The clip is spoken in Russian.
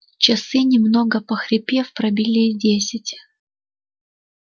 часы немного похрипев пробили десять